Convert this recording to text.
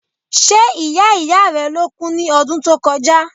Ṣe ìyá ìyá rẹ ló kú ní ọdún tó kọjá?